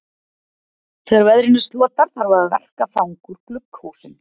Þegar veðrinu slotar þarf að verka þang úr glugghúsum.